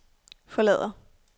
forlader